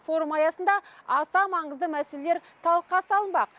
форум аясында аса маңызды мәселелер талқыға салынбақ